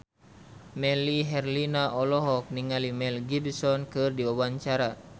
Melly Herlina olohok ningali Mel Gibson keur diwawancara